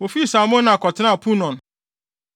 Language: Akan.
Wofii Salmona kɔtenaa Punon.